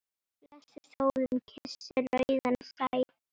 Blessuð sólin kyssir rauðan sæ.